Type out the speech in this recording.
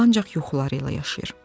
O ancaq yuxuları ilə yaşayır.